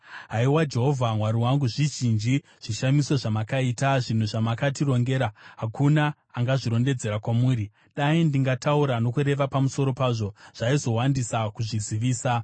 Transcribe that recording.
Haiwa Jehovha, Mwari wangu, zvizhinji zvishamiso zvamakaita. Zvinhu zvamakatitongera hakuna angazvirondedzera kwamuri; dai ndingataura nokureva pamusoro pazvo, zvaizowandisa kuzvizivisa.